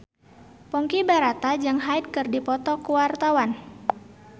Ponky Brata jeung Hyde keur dipoto ku wartawan